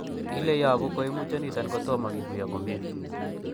Ile yobu koimutioniton kotom kikuyo komie.